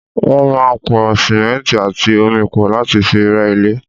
Wọ́n máa ń pò simẹnti àti omi pọ̀ láti fi rẹ́ ilé.